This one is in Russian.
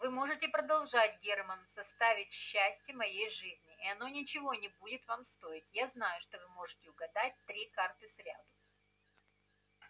вы можете продолжать германн составить счастье моей жизни и оно ничего не будет вам стоить я знаю что вы можете угадать три карты сряду